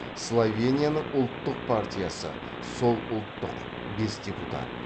словенияның ұлттық партиясы сол ұлттық бес депутат